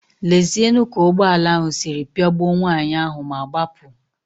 Lezienu ka ụgbọala ahụ si pịagbuo nwaanyị ahụ ma gbapụ.